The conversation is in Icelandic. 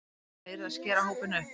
Hreinlega yrði að skera hópinn upp